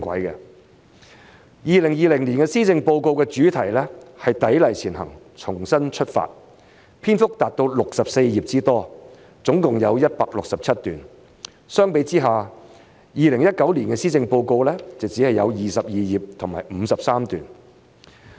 2020年施政報告的主題是"砥礪前行重新出發"，篇幅達到64頁之多，總共有167段。相比之下 ，2019 年的施政報告只有22頁和53段。